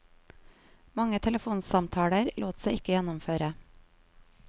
Mange telefonsamtaler lot seg ikke gjennomføre.